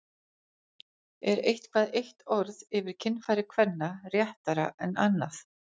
Er eitthvað eitt orð yfir kynfæri kvenna réttara en annað?